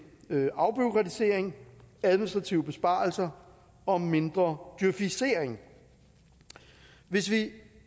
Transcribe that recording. afbureaukratisering administrative besparelser og mindre djøfisering hvis vi